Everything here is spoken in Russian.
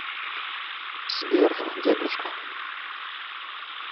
сбер дедушка